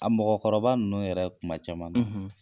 A mɔgɔkɔrɔba ninnu yɛrɛ kuma caman na